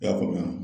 I y'a faamuya